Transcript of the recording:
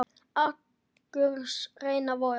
Angurs renna vogar.